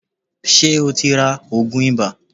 Ṣé ẹ ti ra òògùn ibà.